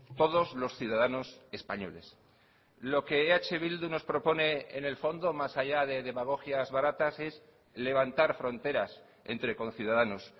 todos los ciudadanos españoles lo que eh bildu nos propone en el fondo más allá de demagogias baratas es levantar fronteras entre conciudadanos